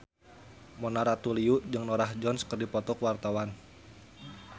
Mona Ratuliu jeung Norah Jones keur dipoto ku wartawan